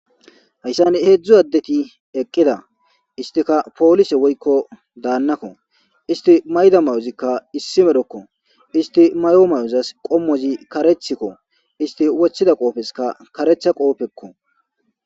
Haysan hedzu adeti eqida istika police woyko danako isti mayida mayozika issi medhoko isti mayo mayozas qomozi karethiko isti wothida qofeska karetha qofeko